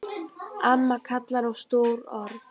Amma kallar á stór orð.